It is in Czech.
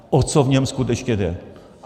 O co v něm skutečně jde.